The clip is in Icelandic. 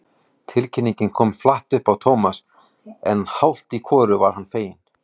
Tilkynningin kom flatt upp á Thomas en hálft í hvoru var hann feginn.